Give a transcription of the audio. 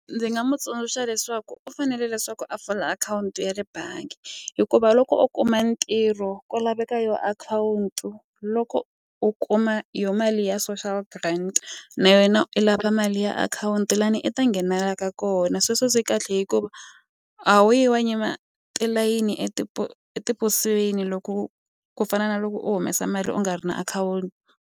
Ndzi nga mu tsundzuxa leswaku u fanele leswaku a pfula akhawunti ya le bangi hikuva loko u kuma ntirho ku laveka yo akhawunti loko u kuma yo mali ya social grant na yena i lava mali ya akhawunti lani i ta nghenelela ka kona sweswo swi kahle hikuva a wu yi wa yima tilayini etiposweni loko ku fana na loko u humesa mali u nga ri na akhawunti.